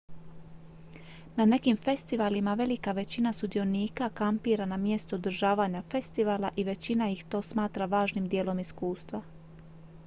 na nekim festivalima velika većina sudionika kampira na mjestu održavanja festivala i većina ih to smatra važnim dijelom iskustva